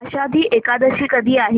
आषाढी एकादशी कधी आहे